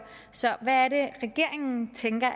så hvad er det regeringen tænker